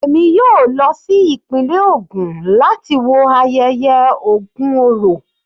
Èmi yóò lọ sí ìpínlẹ̀ ògùn láti wo ayẹyẹ Ògun orò.